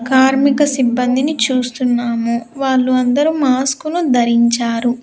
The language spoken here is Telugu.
కార్మిక సిబ్బందిని చూస్తున్నాము వాళ్ళు అందరూ మాస్కును ధరించారు.